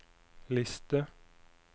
liste